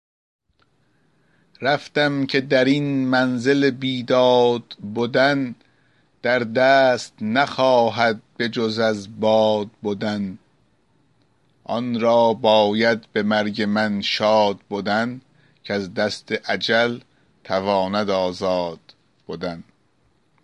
رفتم که در این منزل بیداد بدن در دست نخواهد بجز از باد بدن آن را باید به مرگ من شاد بدن کز دست اجل تواند آزاد بدن